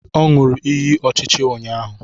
O ñuru ịyị ọchịchị ụnyahụ